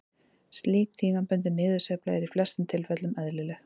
Slík tímabundin niðursveifla er í flestum tilfellum eðlileg.